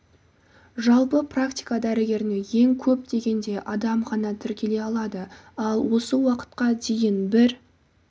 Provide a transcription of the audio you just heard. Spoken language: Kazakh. жалпы практика дәрігеріне ең көп дегенде адам ғана тіркеле алады ал осы уақытқа дейін бір